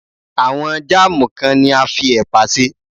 Àwọn Jáàmù kan ni a fi ẹ̀pà ṣe.